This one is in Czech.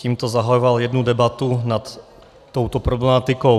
Tímto zahajoval jednu debatu nad touto problematikou.